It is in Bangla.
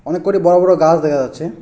অনেক কটি বড় বড় গাছ দেখা যাচ্ছে।